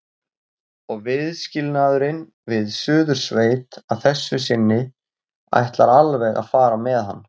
Og viðskilnaðurinn við Suðursveit að þessu sinni ætlar alveg að fara með hann.